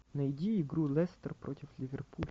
найди игру лестер против ливерпуля